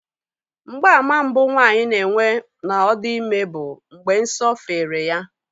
Mgbaàmà mbụ nwaanyị na-enwe na ọ dị ime bụ mgbe nsọ fere ya